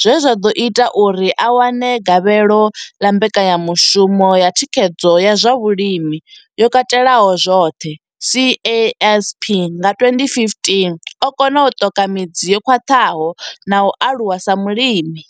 zwe zwa ḓo ita uri a wane gavhelo ḽa mbekanyamushumo ya thikhedzo ya zwa vhulimi yo katelaho zwoṱhe CASP nga 2015, o kona u ṱoka midzi yo khwaṱhaho na u aluwa sa mulimi.